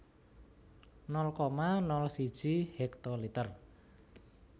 nol koma nol siji hektoliter